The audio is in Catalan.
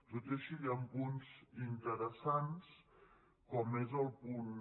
tot i així hi han punts interessants com és el punt